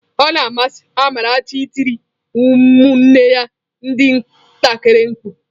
Ọ na amasị Amarachi ị tiri ụmụnne ya ndị ntakịrị mkpu.